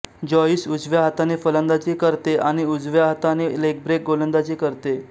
Joyce उजव्या हाताने फलंदाजी करते आणि उजव्या हाताने लेग ब्रेक गोलंदाजी करते